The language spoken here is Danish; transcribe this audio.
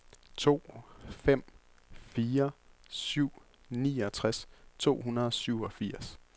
to fem fire syv niogtres to hundrede og syvogfirs